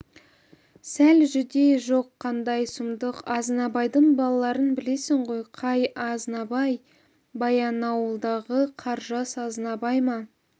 сәл жүдей жоқ қандай сұмдық азнабайдың балаларын білесің ғой қай азнабай баянауылдағы қаржас азнабай ма